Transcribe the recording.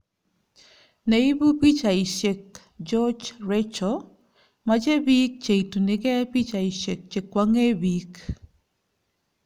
Ne ibu pichaisyek , Georgia Rachel "Machei biik che itunigei pichaisyek che kwong'ee biik